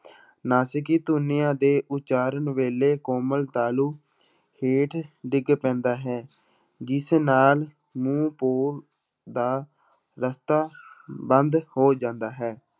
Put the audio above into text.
ਨਾਸਿਕੀ ਧੁਨੀਆਂ ਦੇ ਉਚਾਰਨ ਵੇਲੇ ਕੋਮਲ ਤਾਲੂ ਹੇਠ ਡਿੱਗ ਪੈਂਦਾ ਹੈ, ਜਿਸ ਨਾਲ ਮੂੰਹ ਪੋਲ ਦਾ ਰਸਤਾ ਬੰਦ ਹੋ ਜਾਂਦਾ ਹੈ,